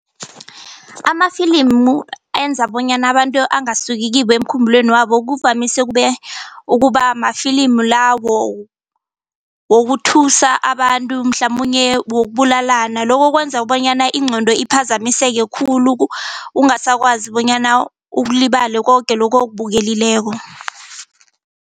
Amafilimu enza bonyana abantu angasuki kibo emkhumbulweni wabo kuvamise ukubamafilimu lawo wokuthuthusa abantu mhlamunye wokubulalana lokho kwenza bonyana ingqondo iphazamiseke khulu ungasakwazi bonyana ukulibale koke lokhu okubukelileko.